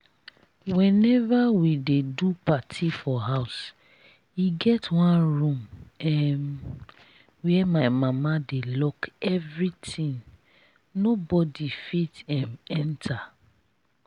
whenever we dey do party for house e get one room um where my mama dey lock everything nobody fit um enter